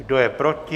Kdo je proti?